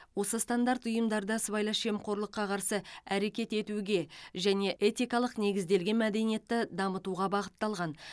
осы стандарт ұйымдарда сыбайлас жемқорлыққа қарсы әрекет етуге және этикалық негізделген мәдениетті дамытуға бағытталған